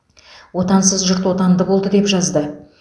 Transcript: отансыз жұрт отанды болды деп жазды